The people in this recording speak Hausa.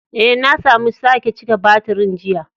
Eh, na samu sake cika batirin jiya.